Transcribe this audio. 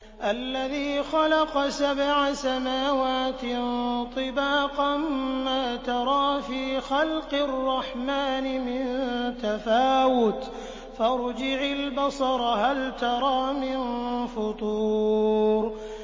الَّذِي خَلَقَ سَبْعَ سَمَاوَاتٍ طِبَاقًا ۖ مَّا تَرَىٰ فِي خَلْقِ الرَّحْمَٰنِ مِن تَفَاوُتٍ ۖ فَارْجِعِ الْبَصَرَ هَلْ تَرَىٰ مِن فُطُورٍ